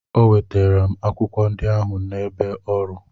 O wetara m akwụkwọ ndị ahụ n'ebe ọrụ.